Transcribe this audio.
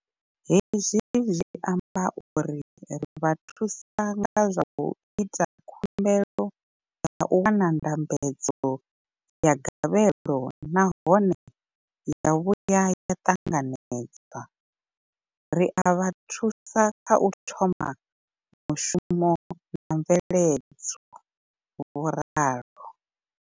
Hezwi zwi amba uri ri vha thusa nga zwa u ita khumbelo ya u wana ndambedzo ya gavhelo nahone ya vhuya ya ṱanganedzwa, ri a vha thusa kha u thoma mushumo na mveledzo, vho ralo.